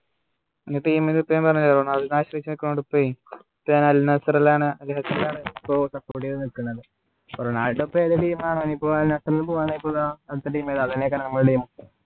team നെ ഞാൻ പറഞ്ഞു തരാം റൊണാൾഡോ നെ ആശ്രയിച്ചു നിക്കാണ് അദ്ദേത്തിനെ ആണ് നിക്കുന്നെ പ്പോ നാട്ടിലിപ്പോ ഏത് team ആണ് പോകണ്ടായപ്പോ ഇതാ അടുത്ത team അതല്ലേ